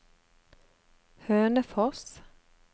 Hønefoss